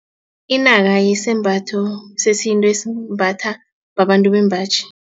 Inaka yisembatho sesintu esimbatha babantu bembaji.